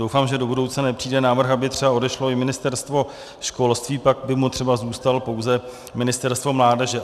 Doufám, že do budoucna nepřijde návrh, aby třeba odešlo i Ministerstvo školství, pak by mu třeba zůstalo pouze Ministerstvo mládeže.